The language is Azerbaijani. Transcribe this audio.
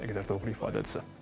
Nə qədər doğru ifadədir.